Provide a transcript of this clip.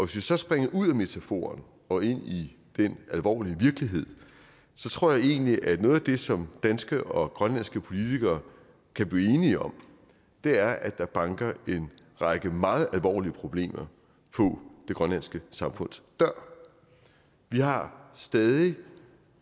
vi så springer ud af metaforen og ind i den alvorlige virkelighed tror jeg egentlig at noget af det som danske og grønlandske politikere kan blive enige om er at der banker en række meget alvorlige problemer på det grønlandske samfunds dør vi har stadig